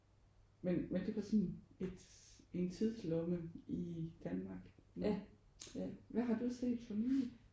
Men men det var sådan et en tidslomme i Danmark. Ja, hvad har du set for nylig?